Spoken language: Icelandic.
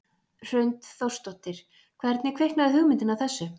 Hrund Þórsdóttir: Hvernig kviknaði hugmyndin að þessu?